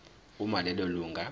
uma lelo lunga